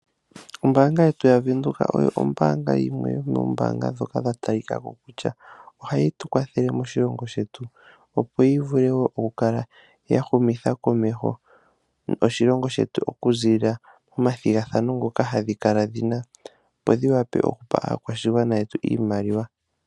Ombaanga yetu yavenduka oyo ombaanga yimwe yomombaanga dhoka dha talikako kutya ohayi tu kwathele moshilongo shetu, opo yivule okukala yahumitha komeho oshilongo shetu okuziilila momathigathano ngoka hadhi kala dhina, opo dhi wape okupa aakwashigwana yetu iimaliwa.